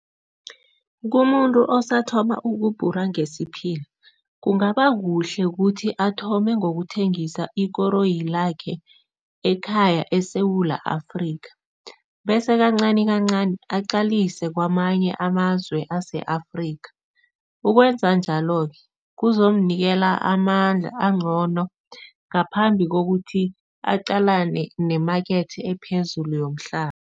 Kumuntu osathoma ukubhora ngesiphila, kungaba kuhle ukuthi athome ngokuthengisa ikoroyi lakhe ekhaya eSewula Afrika bese kancanikancani aqalise kwamanye amazwe ase-Afrika. Ukwenza njalo-ke, kuzomnikela amandla angcono ngaphambi kokuthi aqalane nemakethe ephezulu yomhlaba.